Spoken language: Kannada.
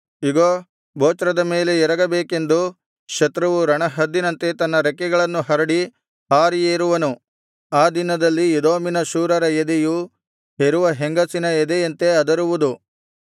ಇಗೋ ಬೊಚ್ರದ ಮೇಲೆ ಎರಗಬೇಕೆಂದು ಶತ್ರುವು ರಣಹದ್ದಿನಂತೆ ತನ್ನ ರೆಕ್ಕೆಗಳನ್ನು ಹರಡಿ ಹಾರಿ ಏರುವನು ಆ ದಿನದಲ್ಲಿ ಎದೋಮಿನ ಶೂರರ ಎದೆಯು ಹೆರುವ ಹೆಂಗಸಿನ ಎದೆಯಂತೆ ಅದರುವುದು